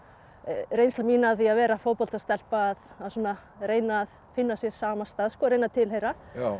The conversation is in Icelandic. reynsla mín af því að vera fótboltastelpa að reyna að finna sér samastað að reyna að tilheyra